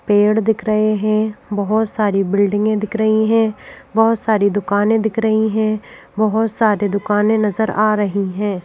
पेड़ दिख रहे हैं बहुत सारी बिल्डिंगें दिख रही हैं बहुत सारी दुकानें दिख रही हैं बहुत सारे दुकानें नजर आ रही हैं।